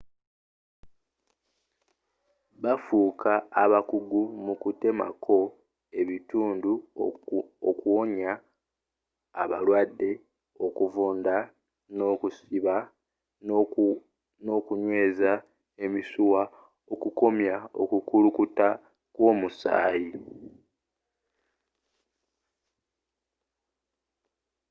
bafuuka bakugu mu kutemako ebitundu okuwonya abalwadde okuvunda n'okusiba n'okunyweza emisuwa okukomya okukulukuta kw'omusaayi